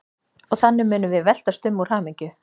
Og þannig munum við veltast um úr hamingju.